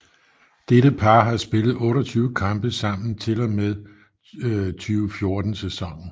Dette par har spillet 28 kampe sammen til og med 2014 sæsonen